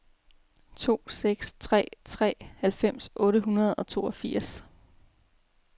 to seks tre tre halvfems otte hundrede og toogfirs